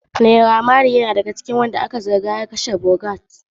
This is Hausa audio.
Naira maley na cikin waɗanda aka zarga da hanunsu a cikin kashe Mohbad.